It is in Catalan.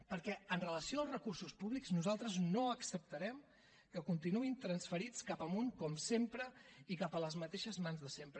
perquè amb relació als recursos públics nosaltres no acceptarem que continuïn transferits cap amunt com sempre i cap a les mateixes mans de sempre